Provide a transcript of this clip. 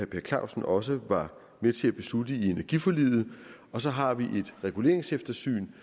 per clausen også var med til at beslutte i energiforliget og så har vi et reguleringseftersyn